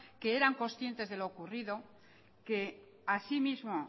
que eran conscientes de lo ocurrido que asimismo